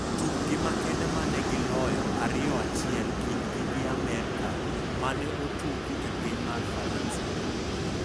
Tukgi makende mane gi loyo 2-1 kindgi gi Amerka mane otugi e piny mar Faransa.